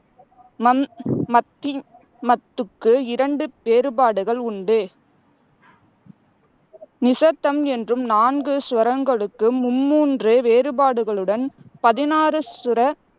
மன் மத்தி மத்துக்கு இரண்டு வேறுபாடுகள் உண்டு நிசத்தம் என்றும் நான்கு சுரங்களுக்கு மும்மூன்று வேறுபாடுகளுடன் பதினாறு சுர